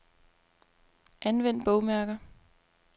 Anvend bogmærker.